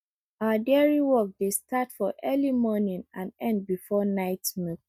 our dairy work dey start for early morning and end before night milk